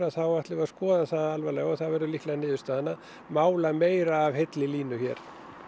þá ætlum við að skoða það alvarlega og það verður líklega niðurstaðan að mála meira af heilli línu hér